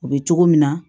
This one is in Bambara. U bɛ cogo min na